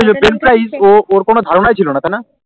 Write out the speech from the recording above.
বেনফ্রিজ ওর কোনো ধার নাই ছিলনা তাই না